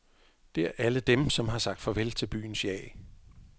Det er alle dem, som har sagt farvel til byens jag.